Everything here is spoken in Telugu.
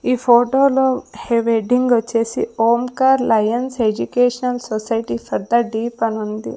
ఈ ఫోటో లో హెడింగ్ వచ్చేసి Omkar lions educational society for the deaf అని ఉంది.